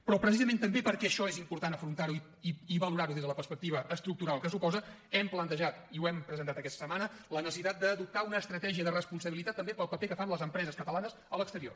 però precisament també perquè això és important afrontar ho i valorar ho des de la perspectiva estructural que suposa hem plantejat i ho hem presentat aquesta setmana la necessitat d’adoptar una estratègia de responsabilitat també pel paper que fan les empreses catalanes a l’exterior